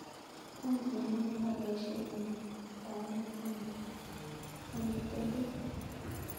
Wany en ano yebaishen mwaet kaimet ama tetet